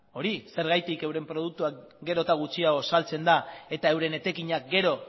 hori zergatik euren produktuak gero eta gutxiago saltzen da eta euren etekinak gero